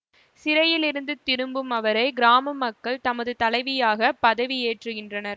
சிறையிலிருந்து திரும்பும் அவரை கிராம மக்கள் தமது தலைவியாக பதவியேற்றுகின்றனர்